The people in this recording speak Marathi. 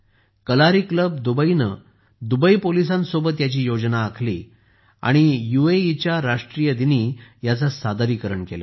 कलारी क्लब दुबईने दुबई पोलिसांसोबत याची योजना आखली आणि यूएईच्या राष्ट्रीय दिनी याचे सादरीकरण केले